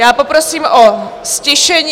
Já poprosím o ztišení.